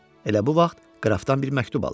Elə bu vaxt qrafdan bir məktub alır.